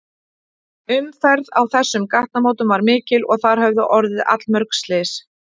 Umferð á þessum gatnamótum var mikil og þar höfðu orðið allmörg slys.